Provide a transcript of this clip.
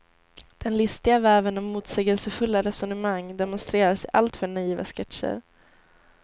Den listiga väven av motsägelsefulla resonemang demonstreras i alltför naiva sketcher.